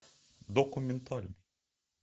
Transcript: документальный